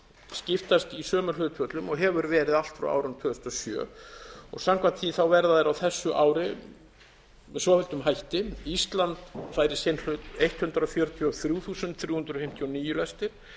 skiptast í sömu hlutföllum og verið hefur frá árinu tvö þúsund og sjö samkvæmt því verða þær á þessu ári með svofelldum hætti ísland fær í sinn hlut hundrað fjörutíu og þrjú þúsund þrjú hundruð fimmtíu og níu lestir